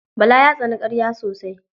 Bala ya tsani ƙarya sosai.